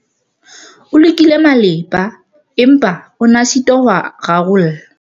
o lekile malepa, empa o ne a sitwa ho a rarolla